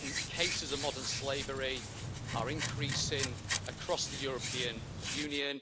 Cases of modern slavery are increasing across the European Union.